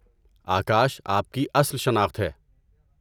آکاش آپ کی اصل شناخت ہے۔